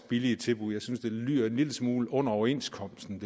billige tilbud jeg synes det lyder en lille smule under overenskomsten